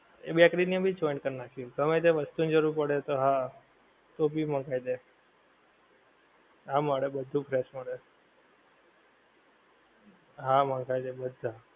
એ bakery ને ભી joint કરી નાંખી, ગમે તે વસ્તુ ની જરૂર પડે તો હા તો ભી મંગાવી દે. હા મળે બધુ fresh મળે. હા મંગાવી દે બધા.